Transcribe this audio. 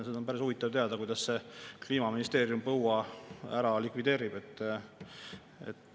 Seda oleks päris huvitav teada, kuidas see Kliimaministeerium põua ära likvideerib.